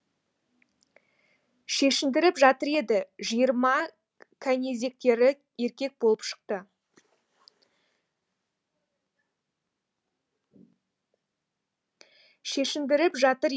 шешіндіріп жатыр еді жиырма кәнизектері еркек болып шықты